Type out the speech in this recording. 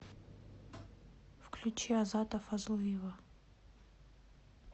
включи азата фазлыева